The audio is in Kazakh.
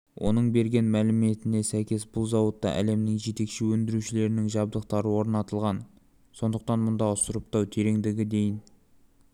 оның берген мәліметіне сәйкес бұл зауытта әлемнің жетекші өндірушілерінің жабдықтары орнатылған сондықтан мұндағы сұрыптау тереңдігі дейін